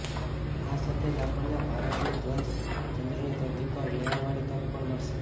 આ સાથે જ આપણને ભારતીય ધ્વજ ચંદ્રની ધરતી પર લહેરાવાની તક પણ મળશે